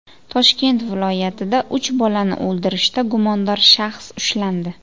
Toshkent viloyatida uch bolani o‘ldirishda gumondor shaxs ushlandi.